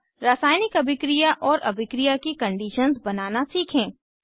अब रासायनिक अभिक्रिया और अभिक्रिया की कंडीशंस बनाना सीखें